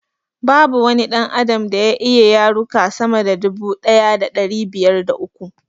Babu wani ɗan adam da ya iya yaruka sama da dubu daya da ɗari biyar da uku